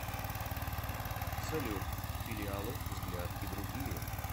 салют филиалы взгляд и другие